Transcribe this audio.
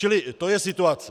Čili to je situace.